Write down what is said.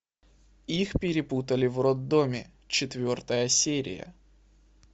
их перепутали в роддоме четвертая серия